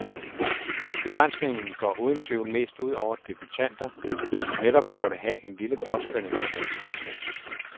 Begrænsningen går uden tvivl mest ud over debutanter, som netop burde have en lille påskønning for deres indsats.